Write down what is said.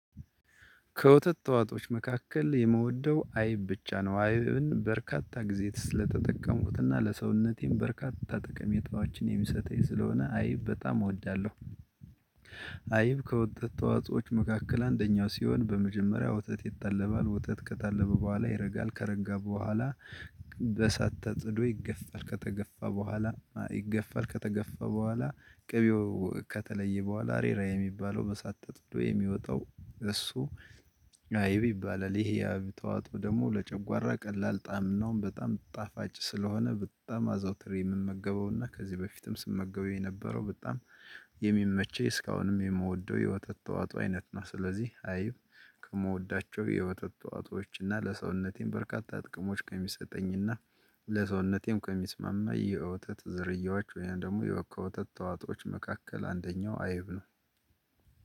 ከወተት ተዋጦች መካከል የመውደው አይብ ብቻ ነው አይብን በርካታ ጊዜ ስለተጠቀሙትና ለሰውነቴም በርካታ ጥቅም የጧችን የሚሰተኝ ስለሆነ አይብ በጣም እወዳለሁ። አይብ ከወጣት ተዋጾዎች መካከል አንደኛው ሲሆን በመጀመሪያ ወተት ይታለባል ወተት ከታለበ በኋላ ይረጋል ከረጋ በኋላ በሳት ተጽዶ ይገፋል ከተገፋ በኋላ ይገፋል ከተገፋ በኋላ ቅቤው ከተለየ በኋላ አሬራ የሚባለው በሳተት ወይ የሚወጣው እሱ አይብ ይባላል። ይሄ ያብ ተዋጦ ደግሞ ለጨጓራ ቀላል ጣዕም ነው በጣም ጣፋጭ ስለሆነ በጣም አዘውትር የምመገበውና ከዚህ በፊትም ስመገበው የነበረው በጣም የሚመቸኝ እስካሁንም የምወደው የወተት ተዋጥኦ አይነት ነው። ስለዚህ አይብ ከምወዳቸው የወተት ተዋጥኦዎች እና ለሰውነቴም በርካታ ጥቅሞች ከሚሰጠኝና ለሰውነቴም ከሚስማማ የውተት ዘርያዎች ወይም ደግሞ የወካ ወተት ተዋጦዎች መካከል አንደኛው አይብ ነው።